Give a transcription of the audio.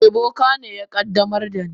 Eh, boka ne ya qaddamar da ni.